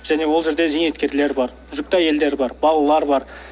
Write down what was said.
және ол жерде зейнеткерлер бар жүкті әйелдер бар балалар бар